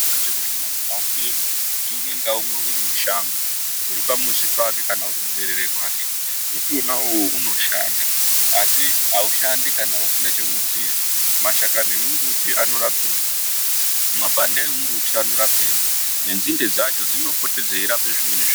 ngechekutii muntu azive kutii mbuti umwe ngaumwe uri mushango uripamuzi pake kana uri muberere mbuti uwona uwowo anoshanda asi aushandi kana usina chaunoziya mashakani emumbuti anorepei mabande emumbuti anorapei nenzinde racho dzinopota dzeirape zvimweni zviro.